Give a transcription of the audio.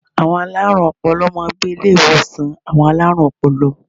Àwọn alárùn ọpọlọ máa n gbé Ilé ìwòsàn àwon alárùn opolo